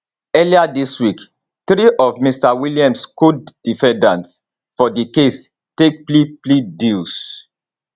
earlier dis week three of mr williams codefendants for di case take plea plea deals